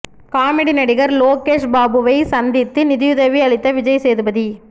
comedy நடிகர் லோகேஷ் பாபுவை சந்தித்து நிதியுதவி அளித்த விஜய் சேதுபதி